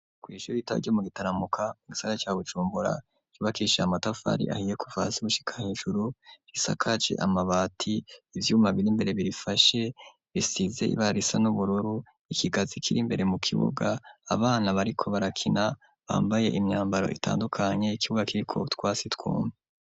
Kw'ishure rito ryo mugitaramuka mugisagara ca Bujumbura cubakishije amatafari ahiye kuva hasi gushika hejuru, risakaje amabati, ivyuma biri imbere birifashe bisize ibara risa n'ubururu, ikigazi kiri mbere mu kibuga abana bariko barakina bambaye imyambaro itandukanye, ikibuga kiriko utwasi twumye.